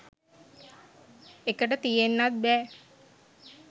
එකට තියෙන්නත් බෑ.